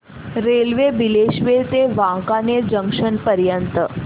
railway Bileshwar ते Wankaner junction पर्यंत